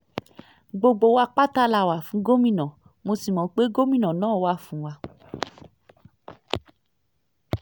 gbogbo wa pátá la wà fún gómìnà mo sì mọ̀ pé gómìnà náà wà fún wa